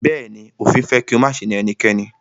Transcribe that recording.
Bẹ̀ẹ́ni, òfin fẹ́ kí o máṣe na ẹnikẹ́ni.